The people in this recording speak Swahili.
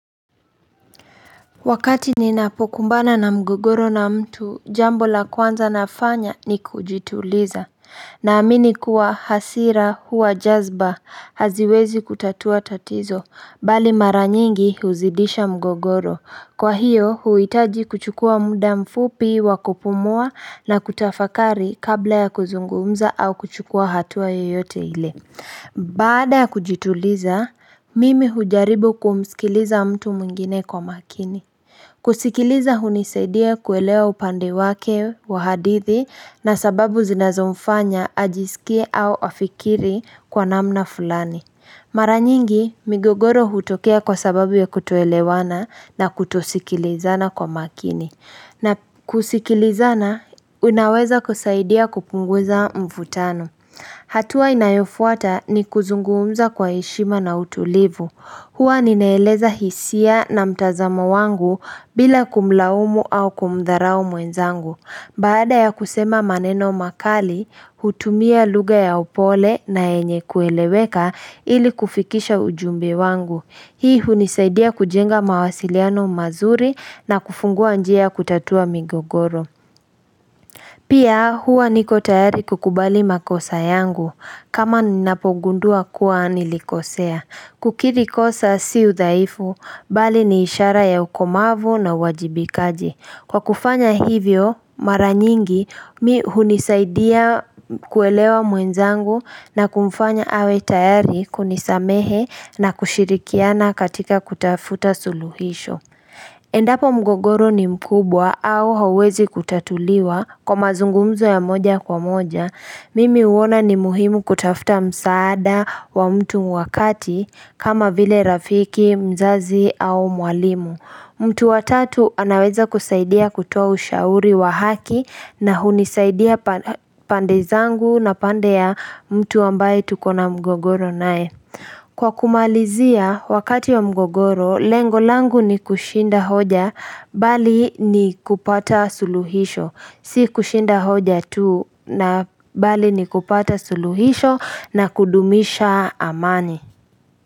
Wakati ninapokumbana na mgogoro na mtu jambo la kwanza nafanya ni kujituliza na amini kuwa hasira huwa jazba haziwezi kutatua tatizo bali mara nyingi huzidisha mgogoro kwa hiyo huhitaji kuchukua muda mfupi wa kupumua na kutafakari kabla ya kuzungumza au kuchukua hatua yoyote ile Bada kujituliza, mimi hujaribu kumsikiliza mtu mwngine kwa makini kusikiliza hunisaidia kuelewa upande wake wa hadithi na sababu zinazomfanya ajisikie au afikiri kwa namna fulani Mara nyingi, migogoro hutokea kwa sababu ya kutoelewana na kutosikilizana kwa makini na kusikilizana, unaweza kusaidia kupunguza mvutano hatua inayofuata ni kuzunguumza kwa heshima na utulivu. Hua ninaeleza hisia na mtazamo wangu bila kumlaumu au kumdharau mwenzangu. Baada ya kusema maneno makali, hutumia lugha ya upole na yenye kueleweka ili kufikisha ujumbe wangu. Hii hunisaidia kujenga mawasiliano mazuri na kufungua njia kutatua migogoro. Pia hua niko tayari kukubali makosa yangu. Kama ninapogundua kuwa nilikosea. Kukiri kosa si udhaifu, bali ni ishara ya ukomavu na uwajibikaji. Kwa kufanya hivyo, mara nyingi, mi hunisaidia kuelewa mwenzangu na kumfanya awe tayari kunisamehe na kushirikiana katika kutafuta suluhisho. Endapo mgogoro ni mkubwa au hawezi kutatuliwa kwa mazungumzo ya moja kwa moja, mimi huona ni muhimu kutafuta msaada wa mtu wa kati kama vile rafiki, mzazi au mwalimu. Mtu wa tatu anaweza kusaidia kutoa ushauri wa haki na hunisaidia pande zangu na pande ya mtu ambaye tuko na mgogoro nae. Kwa kumalizia wakati wa mgogoro, lengo langu ni kushinda hoja bali ni kupata suluhisho, si kushinda hoja tu na bali ni kupata suluhisho na kudumisha amani.